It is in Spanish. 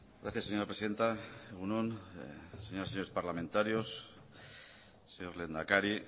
gracias señora presidenta egun on señoras y señores parlamentarios señor lehendakari